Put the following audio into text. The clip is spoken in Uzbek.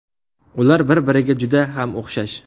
Ular bir-biriga juda ham o‘xshash.